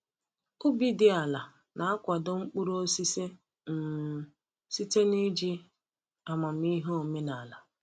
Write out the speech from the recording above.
Ubi dị ala na-akwado mkpụrụ osisi um site n’iji amamihe omenala.